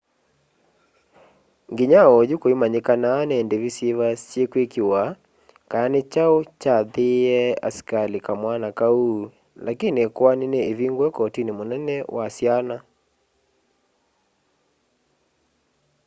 nginya onyu kuinamanyikana ni ndivi syiva syikwikiwa kana ni chau chaathiiie askali kamwana kau lakini ikoani ni ivingue kotini munene wa syana